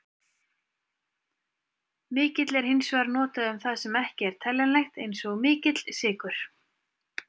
Mikill er hins vegar notað um það sem ekki er teljanlegt, eins og mikill sykur.